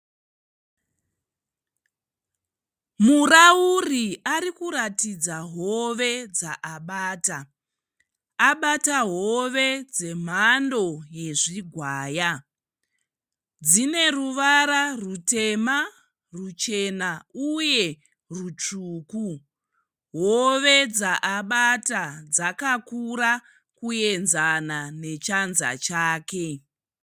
Murauri ari kuratidza hove dzaabata. Abata hove dzemhando yezvigwaya. Dzine ruvara rutema ruchena uye rutsvuku. Hove dzaabata dzakakura kuenzana nechanza chake.